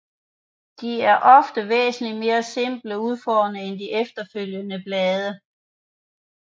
De er ofte væsentligt mere simpelt udformede end de følgende blade